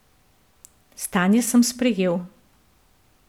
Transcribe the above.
Stanje sem sprejel.